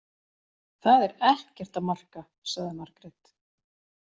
Það er ekkert að marka, sagði Margrét.